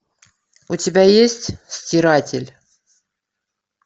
у тебя есть стиратель